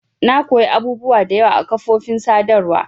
Na koya abubuwa da yawa a kafofin sadarwa.